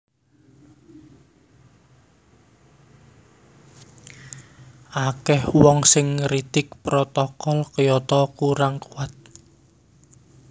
Akèh wong sing ngritik Protokol Kyoto kurang kuwat